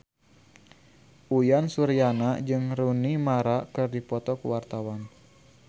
Uyan Suryana jeung Rooney Mara keur dipoto ku wartawan